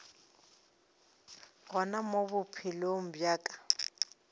gona mo bophelong bja ka